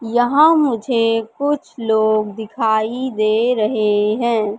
यहां मुझे कुछ लोग दिखाई दे रहे हैं।